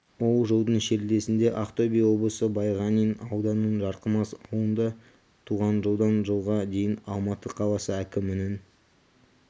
ол жылдың шілдесінде ақтөбе облысы байғанин ауданының жарқамыс ауылында туған жылдан жылға дейін алматы қаласы әкімінің